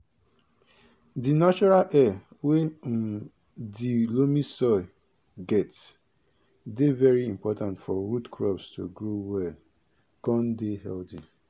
di natural air wey um dey loamy soil get dey very important for root crops to grow well con dey healthy